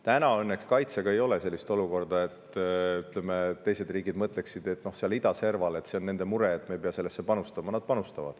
Täna õnneks kaitsega ei ole sellist olukorda, et teised riigid mõtleksid, et see on idaserval olevate riikide mure ja teised ei pea sellesse panustama.